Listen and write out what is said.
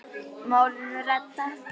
Málinu reddað.